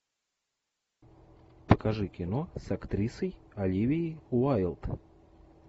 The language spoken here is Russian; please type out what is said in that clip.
покажи кино с актрисой оливией уайлд